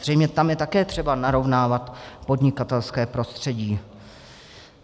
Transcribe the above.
Zřejmě tam je také třeba narovnávat podnikatelské prostředí.